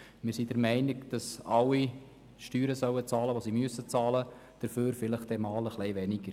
Wir sind der Meinung, dass alle so viel Steuern bezahlen sollen, wie sie müssen – dafür dann vielleicht einmal etwas weniger.